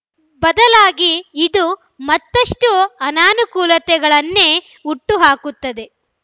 ಬದಲಾಗಿ ಇದು ಮತ್ತಷ್ಟುಅನಾನುಕೂಲತೆಗಳನ್ನೇ ಹುಟ್ಟು ಹಾಕುತ್ತದೆ